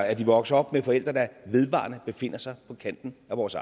at vokse op med forældre der vedvarende befinder sig på kanten af vores